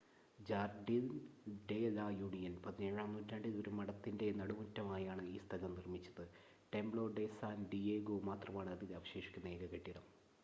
Jardine de la Union 17-ആം നൂറ്റാണ്ടിൽ ഒരു മഠത്തിൻറ്റെ നടുമുറ്റമായാണ് ഈ സ്ഥലം നിർമ്മിച്ചത് ടെംപ്‌ളോ ഡെ സാൻ ഡിയേഗോ മാത്രമാണ് അതിൽ അവശേഷിക്കുന്ന ഏക കെട്ടിടം